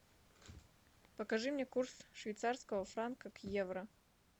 покажи мне курс швейцарского франка к евро